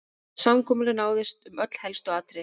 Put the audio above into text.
Samkomulag náðist um öll helstu atriði